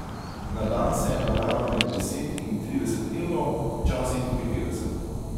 Na dan se je nabralo med deset in trideset evrov, včasih tudi petdeset.